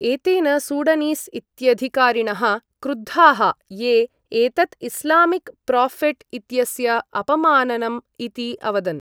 एतेन सूडनीस् इत्यधिकारिणः क्रुद्धाः ये, एतत् इस्लामिक् प्रोफेट् इत्यस्य अपमाननम् इति अवदन्।